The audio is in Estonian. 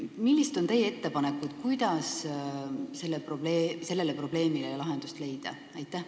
Millised on teie ettepanekud, kuidas sellele probleemile lahendust leida?